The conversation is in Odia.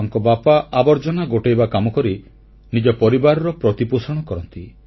ତାଙ୍କ ବାପା ଆବର୍ଜନା ଗୋଟେଇବା କାମକରି ନିଜ ପରିବାରର ପ୍ରତିପୋଷଣ କରନ୍ତି